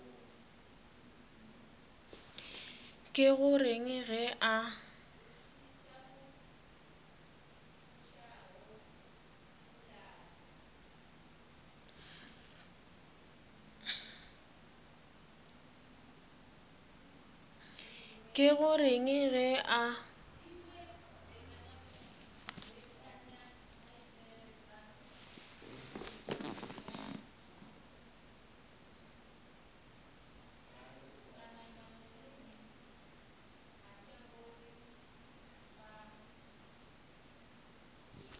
ke go reng ge a